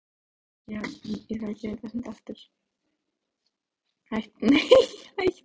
Allir jólasveinarnir sátu nú við tölvurnar og nokkrir aðstoðamenn líka.